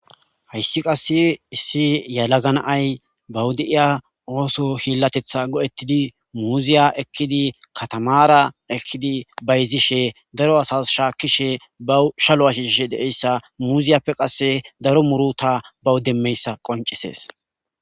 Hayssi qasse issi yalaganaay bawuda'iya ooso hillatetha go'ettidi muuziya ekkidi katamaara ekkidi bayzishe daro asas shaakkishe bawu shalo ashishsh deeyssa muziyappe qasse daro muruta bawu demmeyssa qoncisees.